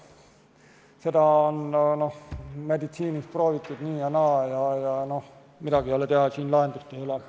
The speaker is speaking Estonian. Seda on meditsiinis proovitud nii ja naa, aga midagi ei ole teha, siin lahendust ei ole.